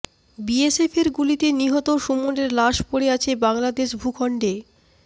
বিএসএফের গুলিতে নিহত সুমনের লাশ পড়ে আছে বাংলাদেশ ভূখণ্ডে